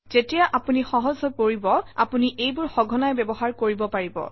যেতিয়া আপুনি সহজ হৈ পৰিব আপুনি এইবোৰ সঘনাই ব্যৱহাৰ কৰিব পাৰিব